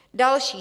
Další -